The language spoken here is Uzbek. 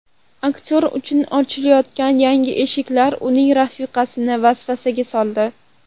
Aktyor uchun ochilayotgan yangi eshiklar uning rafiqasini vasvasaga soldi.